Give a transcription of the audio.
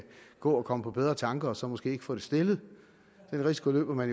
gå og komme på bedre tanker og så måske ikke få det stillet den risiko løber man